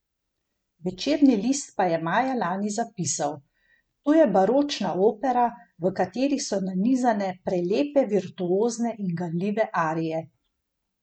Večerni list pa je maja lani zapisal: 'To je baročna opera, v kateri so nanizane prelepe virtuozne in ganljive arije.